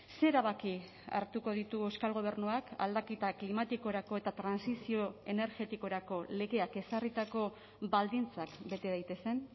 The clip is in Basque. ze erabaki hartuko ditu euskal gobernuak aldaketa klimatikorako eta trantsizio energetikorako legeak ezarritako baldintzak bete daitezen